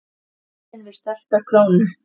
Vandinn við sterka krónu